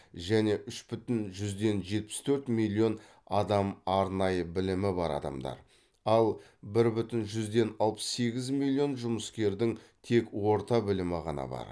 және үш бүтін жүзден жетпіс төрт миллион адам арнайы білімі бар адамдар ал бір бүтін жүзден алпыс сегіз миллион жұмыскердің тек орта білімі ғана бар